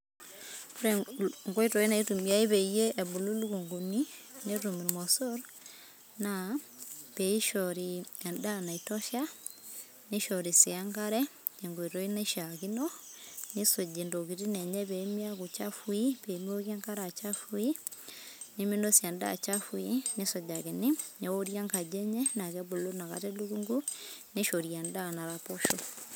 ore il nkoitoi naitumiyai peyie ebulu ilukunguni, netum imoso rna peishori endaa naitosha, nishori si enkare, tenkoitoi naishakino nisuji intokitin enye pemiaku chafui, pemiokie enkare achafui neminosie endaa chafui, nisujakini neori enkaji enye na kebulu nakata elukungu nishori endaa naraposh.